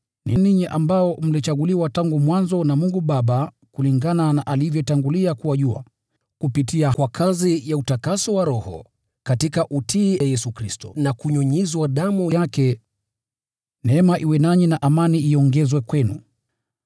Ni ninyi ambao mlichaguliwa tangu mwanzo na Mungu Baba kulingana na alivyotangulia kuwajua, kupitia kwa kazi ya utakaso wa Roho, katika utiifu kwa Yesu Kristo na kunyunyiziwa damu yake: Neema na amani ziwe kwenu kwa wingi.